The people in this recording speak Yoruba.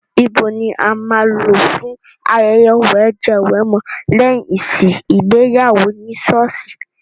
Ibo ni a máa lò fún ayẹyẹ wẹ̀jẹwẹ̀mu lẹ́yìn ìsìn ìgbéyàwó ní sọ́ọ̀sì?